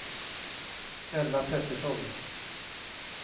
Ella Petersson